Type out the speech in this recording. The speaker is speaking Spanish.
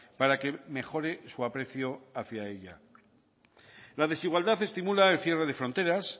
para que mejore su aprecio hacia ella la desigualdad estimula el cierre de fronteras